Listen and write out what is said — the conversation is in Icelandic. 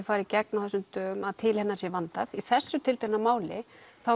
fari í gegn á þessum dögum að til hennar sé vandað í þessu tiltekna máli